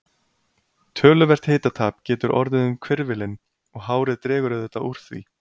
Töluvert hitatap getur orðið um hvirfilinn og hárið dregur auðvitað úr því.